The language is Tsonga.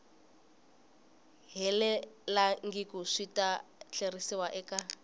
helelangiku swi ta tlheriseriwa eka